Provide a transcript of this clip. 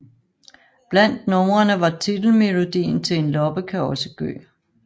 Blandt numrene var titelmelodien til En loppe kan også gø